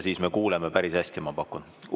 Siis me kuuleme päris hästi, ma pakun.